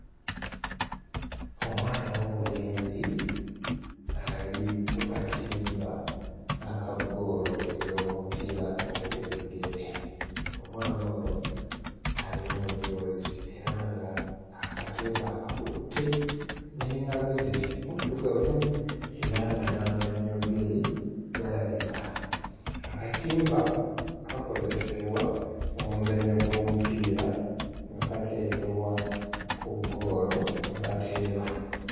Omwana ow'obulenzi ali ku katimba aka ggoolo ey'omupiira ogw'ebigere, omwana ono ali mu mujoozi era ng'akatimba akakutte n'engalo ze, muddugavu era nga n'amannyo ge galabika, akatimba kakozesebwa mu muzannyo gw'omupiira nga kateekebwa ku ggoolo mwe bateeba.